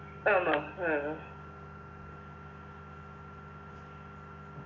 ആണോ ആഹ്